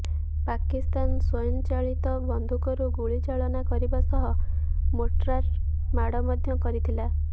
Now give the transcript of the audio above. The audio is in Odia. ପାକିସ୍ତାନ ସ୍ବୟଂଚାଳିତ ବନ୍ଧୁକରୁ ଗୁଳିଚାଳନା କରିବା ସହ ମୋର୍ଟାର ମାଡ଼ ମଧ୍ୟ କରିଥିଲା